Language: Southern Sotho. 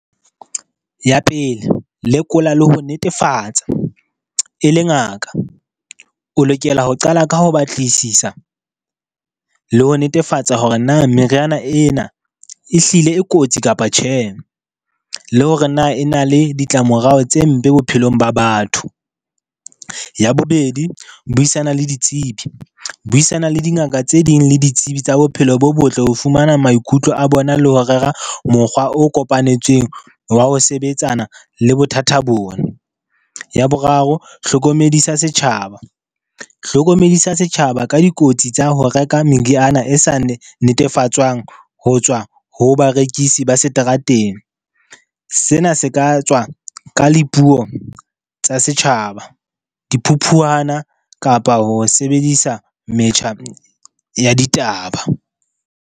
Ya pele, lekola le ho netefatsa e le ngaka. O lokela ho qala ka ho batlisisa le ho netefatsa hore na meriana ena ehlile e kotsi kapa tjhe, le hore na e na le ditlamorao tse mpe bophelong ba batho. Ya bobedi, buisana le ditsebi. Buisana le dingaka tse ding le ditsebi tsa bophelo bo botle ho fumana maikutlo a bona le ho rera mokgwa o kopanetsweng wa ho sebetsana le bothata bona. Ya boraro, hlokomedisa setjhaba, hlokomedisa setjhaba ka dikotsi tsa ho reka meriana e sa netefatswang ho tswa ho ba rekisi ba seterateng. Sena se ka tswa ka le puo tsa setjhaba, diphuphuwana kapa ho sebedisa metjha ya ditaba.